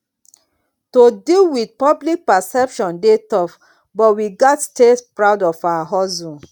to deal with public perception dey tough but we gats stay proud of our hustle